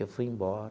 Eu fui embora.